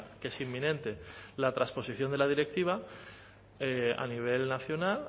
que es inminente la transposición de la directiva a nivel nacional